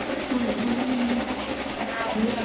সেইকাৰণে থাকি দিয়া নাই